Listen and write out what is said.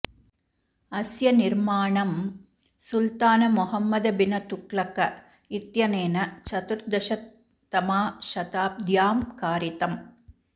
अस्य निर्माणं सुल्तान मोहम्मद बिन तुगलक इत्यनेन चतुर्दशतमाशताब्द्यां कारितम्